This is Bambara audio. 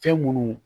Fɛn munnu